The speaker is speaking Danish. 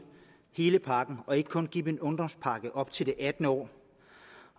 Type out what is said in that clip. hele pakken og ikke kun give dem en ungdomspakke op til det attende år